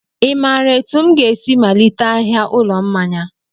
I maara etu m ga-esi malite ahịa ụlọ mmanya?